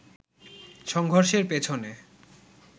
সংঘর্ষের পেছনে